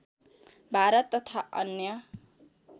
भारत तथा अन्य